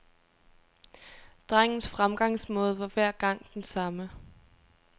Drengens fremgangsmåde var hver gang den samme.